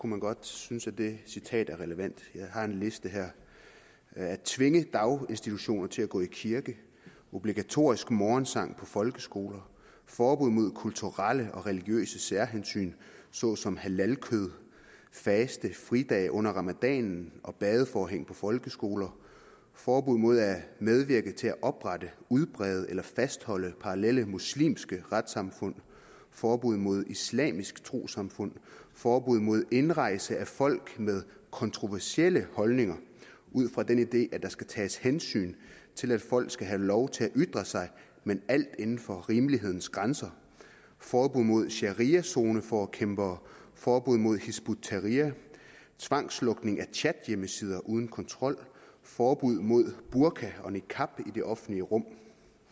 man godt synes at det citat er relevant jeg har en liste her at tvinge daginstitutioner til at gå i kirke obligatorisk morgensang på folkeskoler forbud mod kulturelle og religiøse særhensyn såsom halalkød faste fridage under ramadanen og badeforhæng på folkeskoler forbud mod at medvirke til at oprette udbrede eller fastholde parallelle muslimske retssamfund forbud mod islamisk trossamfund forbud mod indrejse af folk med kontroversielle holdninger ud fra den idé at der skal tages hensyn til at folk skal have lov til at ytre sig men alt inden for rimelighedens grænser forbud mod shariazoneforkæmpere forbud mod hizb ut tahrir tvangslukning af chathjemmesider uden kontrol forbud mod burka og niqab i det offentlige rum